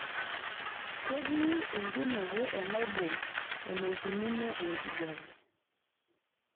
ketii enkinuku enaibon eneikununo enkijiape